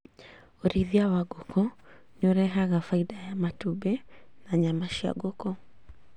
ũrĩithia wa ngũkũ nĩũrehaga baida ya matumbĩ na nyama cia ngũkũ